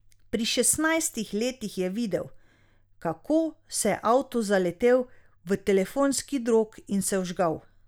Pri šestnajstih letih je videl, kako se je avto zaletel v telefonski drog in se vžgal.